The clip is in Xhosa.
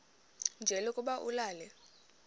nje lokuba ulale